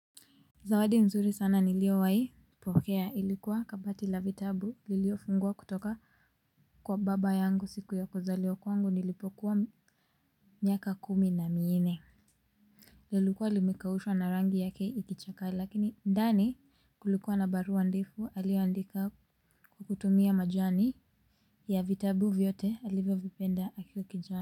Zawadi mzuri sana niliyowahi pokea ilikuwa kabati la vitabu liliofunguwa kutoka kwa baba yangu siku ya kuzaliwa kwangu nilipokuwa miaka kumi na minne lilikuwa limekaushwa na rangi yake ikichakaa lakini ndani kulikuwa na barua ndefu aliyeandika kwa kutumia majani ya vitabu vyote alivyovipenda akiwa kijana.